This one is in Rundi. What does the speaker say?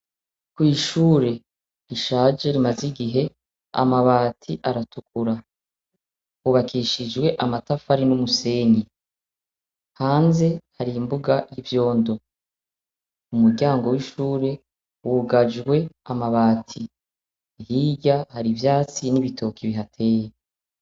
Kw'ishure rishaje rimaze igihe amabati aratukura, hubakishijwe amatafari n'umusenyi, hanze hari imbuga y'ibyondo ,umuryango w'ishure wugajwe amabati, hirya hari ivyatsi n'ibitoki bihateye.